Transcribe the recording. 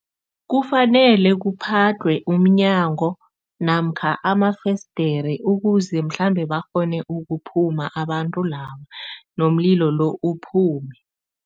Kufanele kuphadlhwe umnyango namkha amafesidere ukuze mhlambe bakghone ukuphuma abantu laba nomlilo lo uphume.